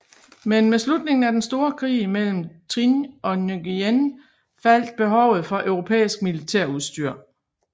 Men med slutningen af den store krig mellem Trịnh og Nguyễn faldt behovet for europæisk militærudstyr